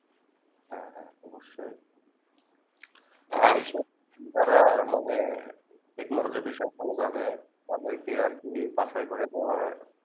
কি যারা মানে Technolog বিষয়ে ভালো জানে তাদের কে আর কি বাঁচায় করে নেওয়া